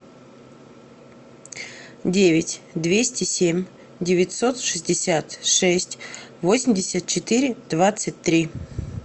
девять двести семь девятьсот шестьдесят шесть восемьдесят четыре двадцать три